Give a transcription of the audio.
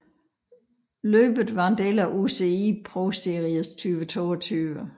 Løbet var en del af UCI ProSeries 2022